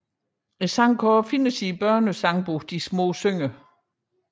Sangen er også at finde i børnesangbogen De små synger